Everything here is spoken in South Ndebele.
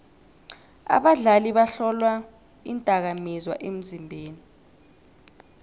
abadlali bahlolwa iindakamizwa emzimbeni